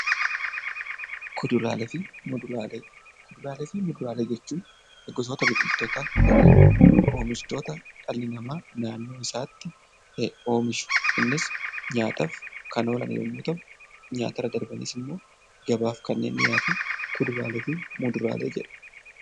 Kuduraalee fi Muduraalee: Kuduraalee fi muduraalee jechuun gosoota biqiltootaa yookiin immoo oomishtoota dhalli namaa naannoo isaatti oomishu, innis nyaataaf kan oolan yommuu ta'u, nyaata irra darbaniis immoo gabaaf kan dhiyaatan kuduraalee fi Muduraalee jedhamu.